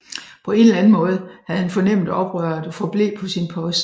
På en eller anden måde havde han fornemmet oprøret og forblev på sin post